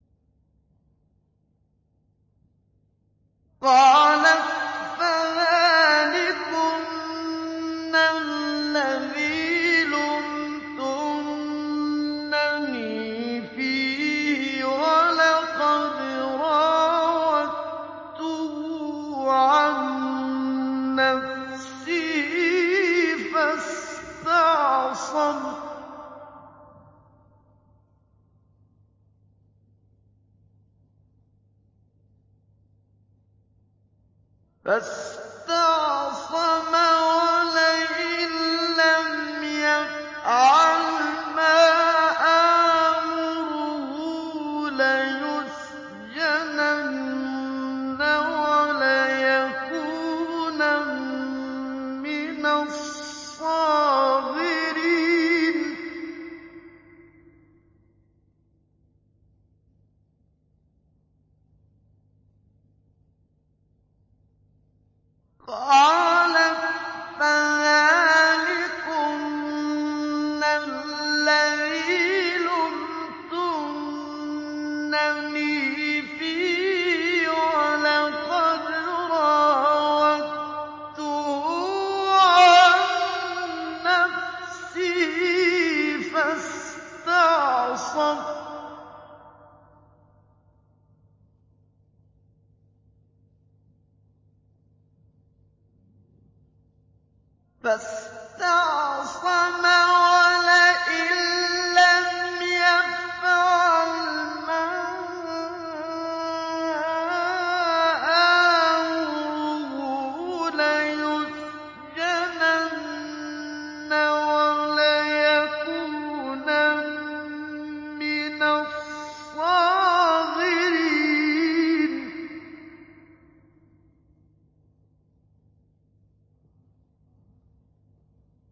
قَالَتْ فَذَٰلِكُنَّ الَّذِي لُمْتُنَّنِي فِيهِ ۖ وَلَقَدْ رَاوَدتُّهُ عَن نَّفْسِهِ فَاسْتَعْصَمَ ۖ وَلَئِن لَّمْ يَفْعَلْ مَا آمُرُهُ لَيُسْجَنَنَّ وَلَيَكُونًا مِّنَ الصَّاغِرِينَ